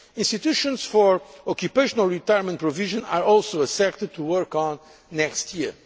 sector. Institutions for occupational retirement provision are also a sector to work on next